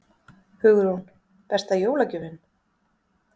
Hugrún: Besta jólagjöfin?